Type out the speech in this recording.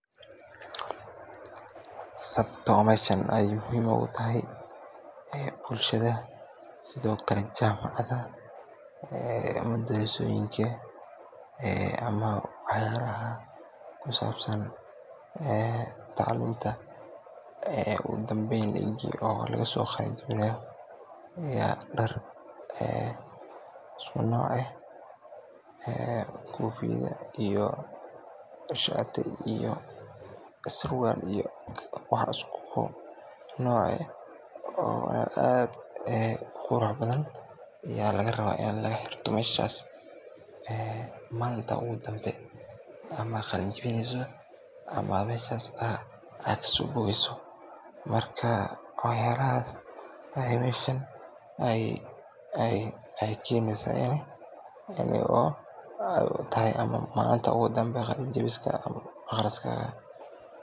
Sababto meeshan aay muhiim ugu tahay aya bulshada sidho kale jamacoyinka, madarsoyinka ama wax yalaha kusabsan taclumta uga danbeen egi lagasoqeyb gareyo ya daar isku nooc eeh kofiyo iyo sharti surwaal iyo wax isku nooc eeh oo aad u qurux badhan ya laga rawa in laga hirto meshas ee malinta ugu dambe oo ad qalanjiwineyso ama meshas aa kasobogeyso marka wax yalahas aya meshan ay keynaysa ay u tahay ama malinta ugu dambe qalanjiwiska aqriskaga.